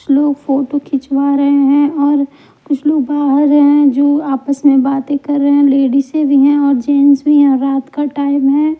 कुछ लोग फोटो खिंचवा रहे हैं और कुछ लोग बाहर हैं जो आपस में बातें कर रहे हैं लेडीज से भी हैं और जेंट्स भी हैं रात का टाइम है।